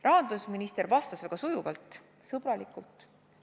Rahandusminister vastas väga sujuvalt, sõbralikult.